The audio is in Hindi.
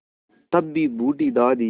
तब भी बूढ़ी दादी